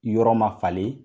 Yɔrɔ ma falen.